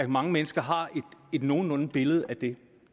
mange mennesker har et nogenlunde billede af det